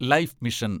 life mission